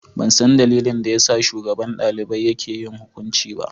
Ban san dalilin da ya sa shugaban dalibai yake yin hukunci ba.